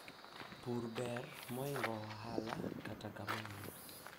kilimo ni bora kuliko biashara hata hivyo